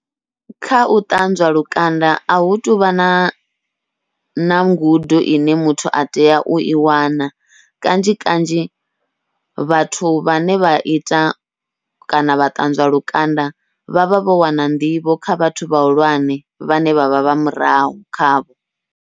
Kha u ṱanzwa lukanda ahu tuvha na na ngudo ine muthu atea ui wana, kanzhi kanzhi vhathu vhane vha ita kana vha ṱanzwa lukanda vhavha vho wana nḓivho kha vhathu vhahulwane vhane vha vha vha murahu khavho.